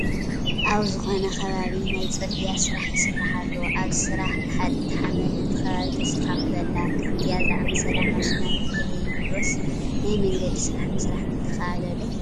ኣብ ዝኾነ ከባቢ ናይ ፅርጊያ ስራሕ ይስራሕ ኣሎ፡፡ ኣብዚ ስራሕ ገሓጢት ሓመድ ነቲ ከባቢ ተስተኻኽሎ ኣላ፡፡ ከምእዚአ ዝኣምሰላ ማሽናት እንተዘይህልዋስ ናይ መንገዲ ስራሕ ምስራሕ ምተኻእለ ዶ?